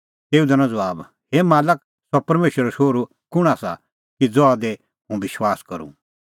तेऊ दैनअ ज़बाब हे मालक सह परमेशरो शोहरू कुंण आसा कि ज़हा दी हुंह विश्वास करूं